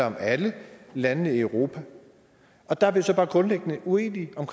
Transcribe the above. om alle landene i europa der er vi så bare grundlæggende uenige om